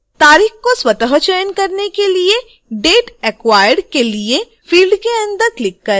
तारीख को स्वत: चयन करने के लिए date acquired के लिए फ़िल्ड के अंदर क्लिक करें